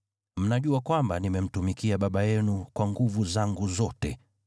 Mnajua kwamba nimemtumikia baba yenu kwa nguvu zangu zote,